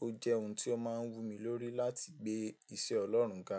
Ó jẹ́ ohun tí ó máa ń wù mí lórí láti gbé ìse Ọlọ́run ga.